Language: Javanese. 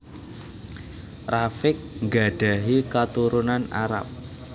Rafiq nggadhahi katurunan Arab